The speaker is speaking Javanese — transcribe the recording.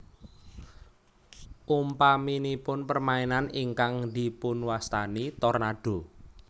Umpaminipun permainan ingkang dipunwastani Tornado